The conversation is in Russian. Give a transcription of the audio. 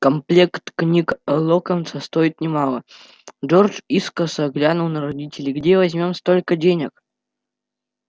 комплект книг локонса стоит немало джордж искоса глянул на родителей где возьмём столько денег